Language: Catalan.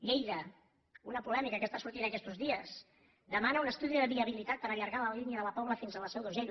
lleida una polèmica que està sortint aquestos dies demana un estudi de viabilitat per allargar la línia de la pobla fins a la seu d’urgell